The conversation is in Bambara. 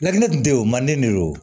Ladili tun tɛ ye o man di ne de ye o